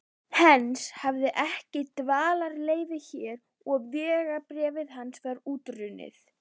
Heinz hafði ekki dvalarleyfi hér og vegabréf hans var útrunnið.